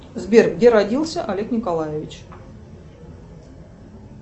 сбер где родился олег николаевич